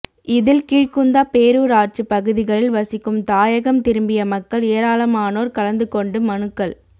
இதில் கீழ்குந்தா பேரூராட்சி பகுதிகளில் வசிக்கும் தாயகம் திரும்பிய மக்கள் ஏராளமனோர் கலந்து கொண்டு மனுக்கள்